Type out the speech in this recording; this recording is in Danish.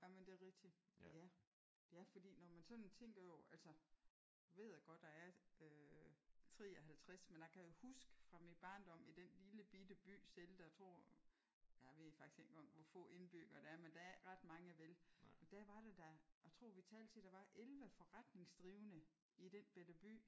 Jamen det er rigtigt. Ja. Ja fordi når man sådan tænker over altså ved jeg godt jeg er øh 53 men jeg kan jo huske fra min barndom i den lille bitte by selv der tror jeg ved ikke faktisk engang hvor få indbyggere der er men der er ikke ret mange vel? Men der var der da jeg tror vi talte til11 forretningsdrivende i den bette by